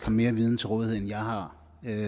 mere viden til rådighed end jeg har